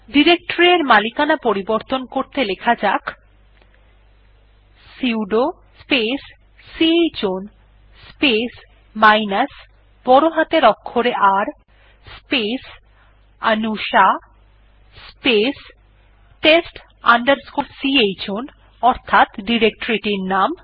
directory এর মালিকানা পরিবর্তন করতে লেখা যাক sudo space chown space minus বড় হাতের অক্ষরে R space Anusha space test chown অর্থাৎ ডিরেকটরি এর নাম